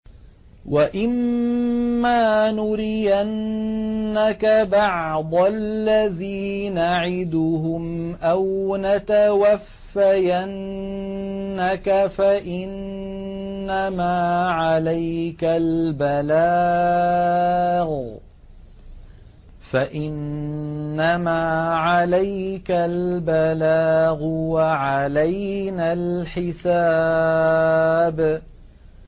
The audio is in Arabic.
وَإِن مَّا نُرِيَنَّكَ بَعْضَ الَّذِي نَعِدُهُمْ أَوْ نَتَوَفَّيَنَّكَ فَإِنَّمَا عَلَيْكَ الْبَلَاغُ وَعَلَيْنَا الْحِسَابُ